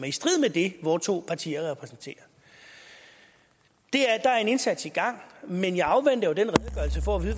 i strid med det vore to partier repræsenterer der er en indsats i gang men jeg afventer jo den redegørelse for at